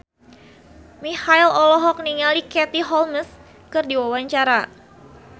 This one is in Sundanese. Marchell olohok ningali Katie Holmes keur diwawancara